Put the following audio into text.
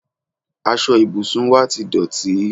aṣọ ìbùsùn wá ti dọ̀tí